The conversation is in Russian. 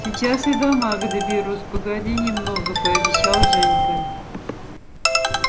сейчас и до мага доберусь погоди немного пообещал женька